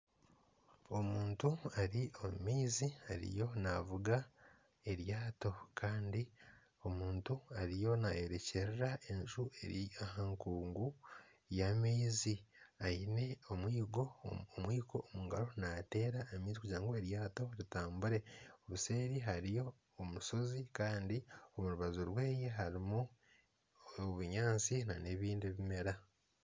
Omuntu ari omu maizi ariyo navuga eryaato Kandi omuntu ariyo nayerekyerera enju eri aha nkungu y'amaizi aine enkatsi omungaro nateera amaizi kugura ngu eryaato ritambure. Obuseeri hariyo omushozi Kandi orubaju rweye harimu obunyaatsi nana ebindi bimera.